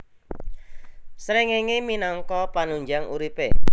Srengéngé minangka panunjang uripé